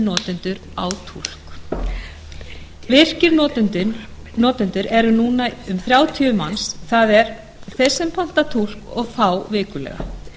notendur á túlk virkir notendur eru núna um þrjátíu manns það er þeir sem panta túlk og fá vikulega